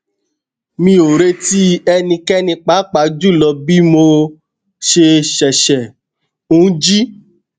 mi o reti ẹnikẹni paapaa julọ bi mo ṣe ṣẹṣẹ n ji